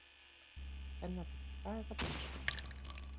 Kennari: Hvað er þá persóna?